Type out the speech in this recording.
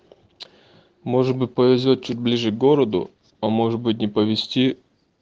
может быть повезёт чуть ближе к городу а может быть не повести